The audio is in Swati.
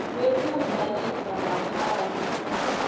wekudla lifa ngaphandle